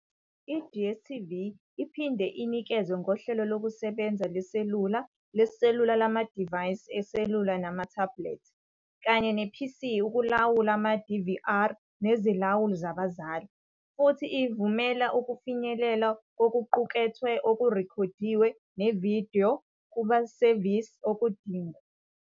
I-DStv iphinde inikeze ngohlelo lokusebenza leselula leselula lamadivayisi eselula namathebulethi, kanye ne-PC ukulawula ama-DVR nezilawuli zabazali futhi ivumela ukufinyelela kokuqukethwe okurekhodiwe nevidiyo kumasevisi okudingwa.